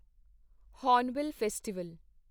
Hornbill festival